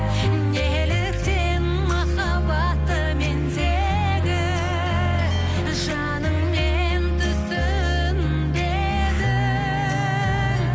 неліктен махаббатты мендегі жаныңмен түсінбедің